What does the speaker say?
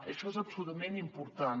això és absolutament important